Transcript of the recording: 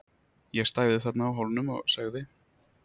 Ég stæði þarna á Hólnum og segði